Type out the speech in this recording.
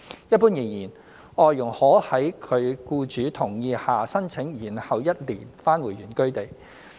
一般而言，外傭可在其僱主同意下申請延後一年返回原居地。